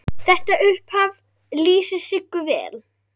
Þetta upphaf lýsir Siggu vel.